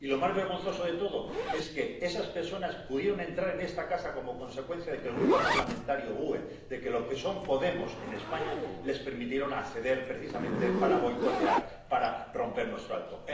Y lo más vergonzoso de todo es que esas personas pudieron entrar en esta casa como consecuencia de que el Grupo parlamentario GUE NGL ―los que son Podemos en España― les permitió acceder precisamente para boicotear, para romper nuestro acto.